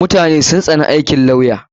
Mutane sun tsani aikin lawya.